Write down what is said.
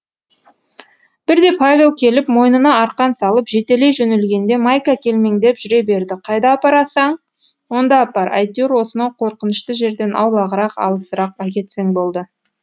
бірде павел келіп мойнына арқан салып жетелей жөнелгенде майка телмеңдеп жүре берді қайда апарсаң онда апар әйтеуір осынау қорқынышты жерден аулағырақ алысырақ әкетсең болды